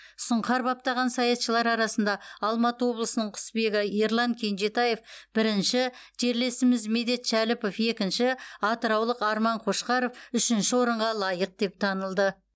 сұңқар баптаған саятшылар арасында алматы облысының құсбегі ерлан кенжетаев бірінші жерлесіміз медет шәліпов екінші атыраулық арман қошқаров үшінші орынға лайық деп танылды